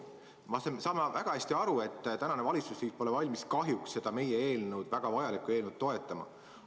Ma saan väga hästi aru, et tänane valitsusliit pole kahjuks valmis seda meie eelnõu, väga vajalikku eelnõu, toetama.